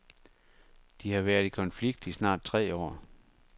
De har været i konflikt i snart tre år.